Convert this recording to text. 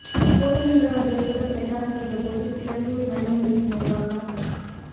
போடுகின்றவர்கள் கூட பிரச்சாரம் செய்த போது சிலாங்கூர் நல்ல முறையில் நிர்வாகம்